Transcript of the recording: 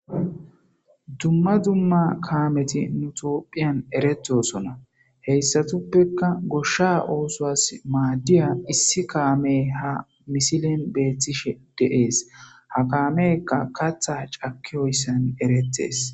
Dumma dzumma kaameti nutophiyan eretosona heyssatuppeka goshsha oosoas maaddiya issi kaame ha misilen beethtishe deees ha kaamekka katha cakki oyssan eretees